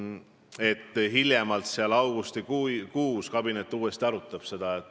Me oleme kokku leppinud, et hiljemalt augustikuus kabinet uuesti arutab seda.